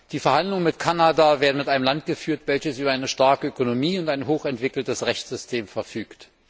Die Verhandlungen mit Kanada werden mit einem Land geführt, welches über eine starke Ökonomie und ein hochentwickeltes Rechtssystem verfügt.